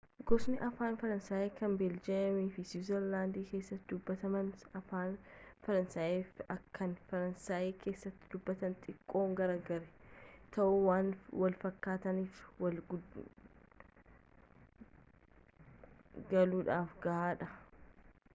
gosoonni afaan faransaayi kan beeljeemii fi siwiizerlaandi keessatti dubatamanii afaan faransaayi kan faransaayi keessatti dubatamurraa tiqqoo gargari ta'us waan wal fakkaataniif walii galuudhaaf gahaa dha